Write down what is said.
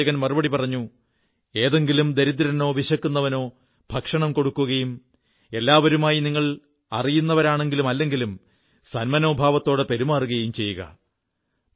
പ്രവാചകൻ മറുപടി പറഞ്ഞു ഏതെങ്കിലും ദരിദ്രനോ വിശക്കുന്നവനോ ഭക്ഷണം കൊടുക്കുകയും എല്ലാവരുമായി നിങ്ങൾ അറിയുന്നവരാണെങ്കിലും അല്ലെങ്കിലും സന്മനോഭാവത്തോടെ പെരുമാറുകയും ചെയ്യുക